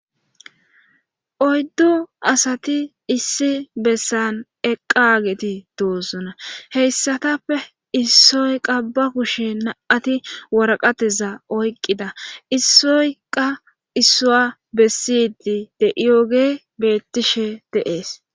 Oyddo asati issi bessan eqqaageti doosuna heyssatappe issoyqa ba kushe na'ati waraqateza oyqqida issoyqa issua bessidi de iyooge beettishe deees.